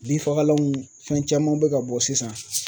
Binfagalanw fɛn caman bɛ ka bɔ sisan